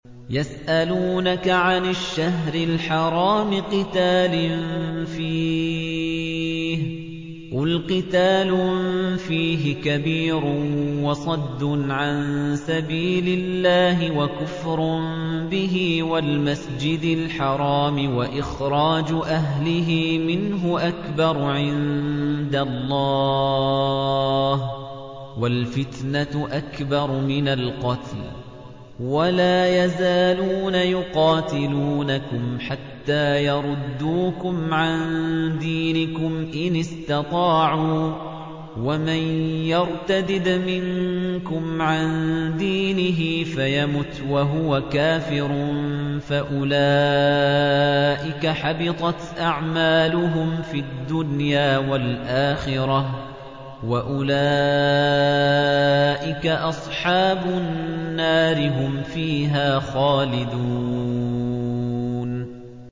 يَسْأَلُونَكَ عَنِ الشَّهْرِ الْحَرَامِ قِتَالٍ فِيهِ ۖ قُلْ قِتَالٌ فِيهِ كَبِيرٌ ۖ وَصَدٌّ عَن سَبِيلِ اللَّهِ وَكُفْرٌ بِهِ وَالْمَسْجِدِ الْحَرَامِ وَإِخْرَاجُ أَهْلِهِ مِنْهُ أَكْبَرُ عِندَ اللَّهِ ۚ وَالْفِتْنَةُ أَكْبَرُ مِنَ الْقَتْلِ ۗ وَلَا يَزَالُونَ يُقَاتِلُونَكُمْ حَتَّىٰ يَرُدُّوكُمْ عَن دِينِكُمْ إِنِ اسْتَطَاعُوا ۚ وَمَن يَرْتَدِدْ مِنكُمْ عَن دِينِهِ فَيَمُتْ وَهُوَ كَافِرٌ فَأُولَٰئِكَ حَبِطَتْ أَعْمَالُهُمْ فِي الدُّنْيَا وَالْآخِرَةِ ۖ وَأُولَٰئِكَ أَصْحَابُ النَّارِ ۖ هُمْ فِيهَا خَالِدُونَ